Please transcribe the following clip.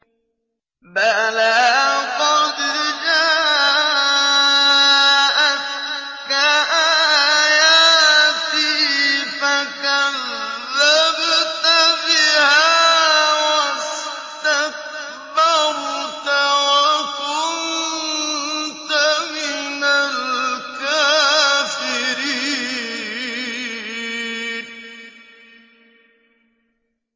بَلَىٰ قَدْ جَاءَتْكَ آيَاتِي فَكَذَّبْتَ بِهَا وَاسْتَكْبَرْتَ وَكُنتَ مِنَ الْكَافِرِينَ